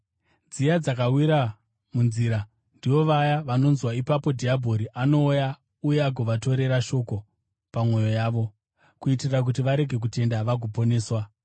Dziya dzakawira munzira ndivo vaya vanonzwa, ipapo dhiabhori anouya uye agovatorera shoko pamwoyo yavo, kuitira kuti varege kutenda vagoponeswa.